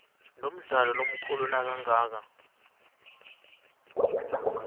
lomdlalo lomkhulu nakangaka